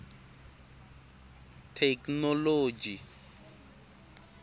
theknoloji